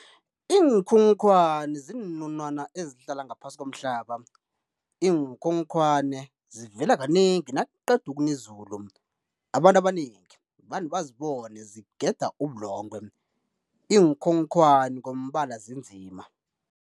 Iinkhonkhwani ziinunwana ezihlala ngaphasi komhlaba, iinkhokhwane zivela kanengi nakuqeda ukuna izulu. Abantu abanengi vane bazibone zigeda ubulongwe, iinkhonkhwani ngombala zinzima.